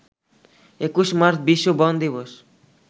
২১ March বিশ্ব বন দিবস